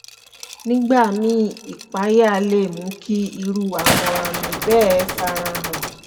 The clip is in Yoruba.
nígbà míì ìpayà lè mú kí irú àwọn àmì bẹ́ẹ̀ fara hàn